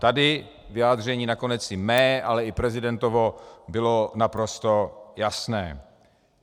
Tady vyjádření nakonec i mé, ale i prezidentovo bylo naprosto jasné.